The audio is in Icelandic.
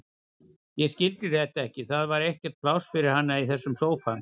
Ég skildi þetta ekki, það var ekkert pláss fyrir hana í þessum sófa.